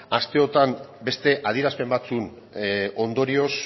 asteotan beste adierazpen batzuen ondorioz